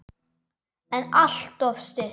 En alltof stutt.